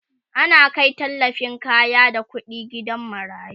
ana Kai tallafin kaya da ƙuɗi gidan marayu